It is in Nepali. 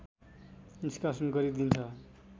निष्कासन गरिदिन्छ